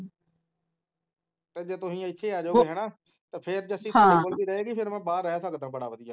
ਤੇ ਫੇਰ ਜੇ ਤੁਸੀਂ ਇਥੇ ਆ ਜਾਓਗੇ ਤਾਂ ਜੱਸੀ ਇਥੇ ਤੁਹਾਡੇ ਕੋਲ ਰਹੇਗੀ ਤਾਂ ਮੈਂ ਬਾਹਰ ਰਹਿ ਸਕਦਾ ਬੜਾ ਵਧੀਆ